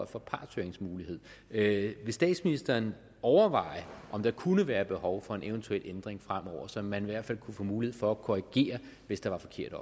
for partshøringsmulighed vil statsministeren overveje om der kunne være et behov for en eventuel ændring fremover så man i hvert fald kunne få mulighed for at korrigere hvis der var forkerte